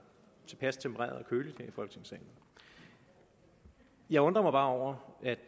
tilpas tempereret og køligt her i folketingssalen jeg undrer mig bare over at